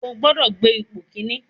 Ó gbọ́dọ̀ gbé ipò kíní.